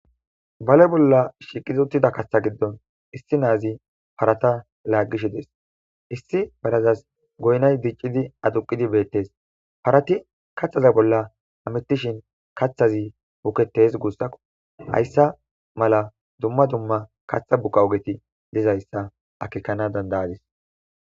bale bolla shiqid utida kaththa giddon issi naazi parata laaggishi des issi barazas goynay diccidi aduqidi beettes parati kaththaza bolla amettishin kaththazi buketes guussako hayssa mala dumma dumma kaththa buqa ogeti dizayssa akekana dandayadis